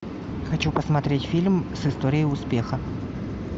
хочу посмотреть фильм с историей успеха